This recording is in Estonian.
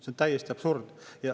See on täiesti absurd.